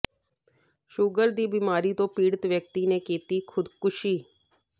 sugar ਦੀ ਬਿਮਾਰੀ ਤੋਂ ਪੀੜਤ ਵਿਅਕਤੀ ਨੇ ਕੀਤੀ ਖ਼ੁਦਕੁਸ਼ੀ